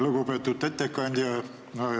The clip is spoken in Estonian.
Lugupeetud ettekandja!